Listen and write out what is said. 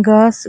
घास